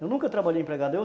Eu nunca trabalhei empregado